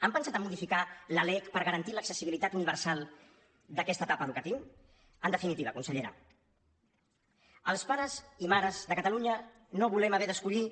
han pensat en modificar la lec per garantir l’accessibilitat universal d’aquesta etapa educativa en definitiva consellera els pares i mares de catalunya no volem haver d’escollir